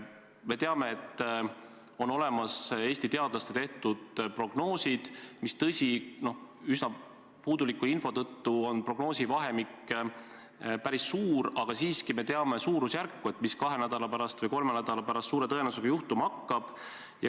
Me teame, et on olemas Eesti teadlaste tehtud prognoosid – tõsi, üsna puuduliku info tõttu on prognoosivahemik päris suur, aga siiski me teame suurusjärku –, mis kahe nädala või kolme nädala pärast suure tõenäosusega juhtuma hakkab.